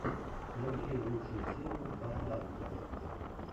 набери лучшую серию бороданте